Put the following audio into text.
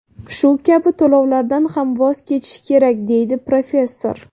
Shu kabi to‘lovlardan ham voz kechish kerak, deydi professor.